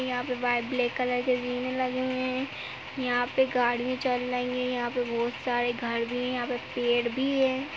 यहाँ पे white black colour के जीने लग हैं यहाँ पे गाड़ियाँ चल रही हैं यहाँ पे बहुत सारे घर भी हैं यहाँ पे पेड़ भी हैं।